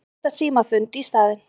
Þeir halda símafund í staðinn.